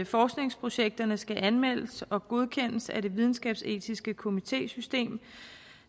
forskningsprojekterne skal anmeldes og godkendes af det videnskabsetiske komitésystem